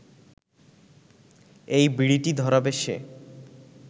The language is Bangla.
এই বিড়িটি ধরাবে সে